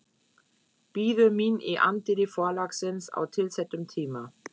Bíður mín í anddyri forlagsins á tilsettum tíma.